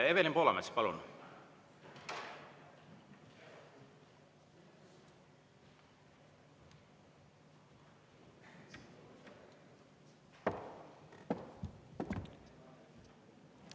Evelin Poolamets, palun!